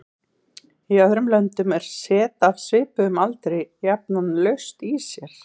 Í öðrum löndum er set af svipuðum aldri jafnan laust í sér.